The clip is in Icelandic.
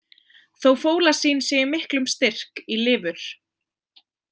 Þó fólasín sé í miklum styrk í lifur.